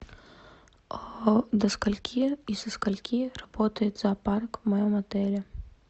до скольки и со скольки работает зоопарк в моем отеле